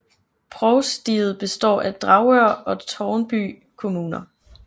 Provstiet består af Dragør og Tårnby Kommuner